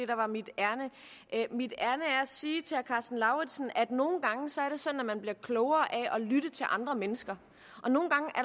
der var mit ærinde mit ærinde er at sige til herre karsten lauritzen at det nogle gange er sådan at man bliver klogere af at lytte til andre mennesker